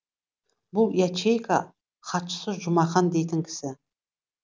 бұл ячейка хатшысы жұмақан дейтін кісі